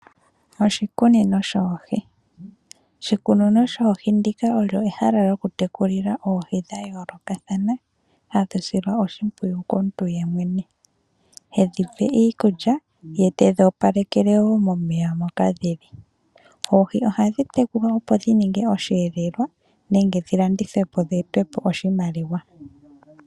Oshikunino shoohi ndika olyo ehala lyokutekulila oohi dhayoolokathana, hadhi silwa oshipwiyu komuntu yemwene, hedhi pe iikulya ye tedhi opalekele woo momeya moka dhili. Oohi ohadhi tekulwa opo dhininge oshiyelelwa nenge dhi landithwe po dhi ete po oshimaliwa.